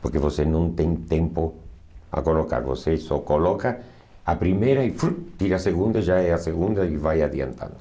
porque você não tem tempo a colocar, você só coloca a primeira e tira a segunda, já é a segunda e vai adiantando.